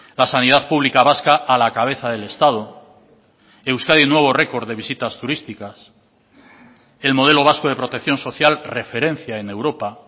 la sanidad pública vasca a la cabeza del estado euskadi nuevo record de visitas turísticas el modelo vasco de protección social referencia en europa